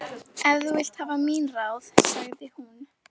Ef þú vilt hafa mín ráð, sagði hún.